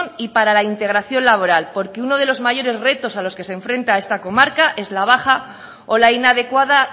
y para la integración laboral porque uno de los mayores retos a los que se enfrenta esta comarca es la baja o la inadecuada